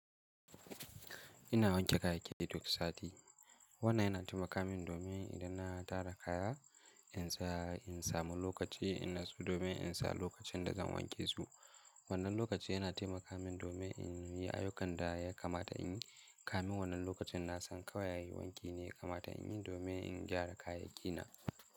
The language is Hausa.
Ina wanke kayayyaki duk sati. Wannan yana taimaka min domin idan na tara kaya, in saya, in samu lokaci, in natsu domin in sa lokacin da zan wanke su. Wannan lokaci yana taimaka min domin in yi ayyukan da ya kamata in yi. Kamin wannan lokacin na san kawai yi wanki ne ya kamata in yi domin in gyara kayayyaki na.